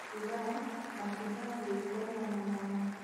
Abitha matibatiĩ kũregana na waatho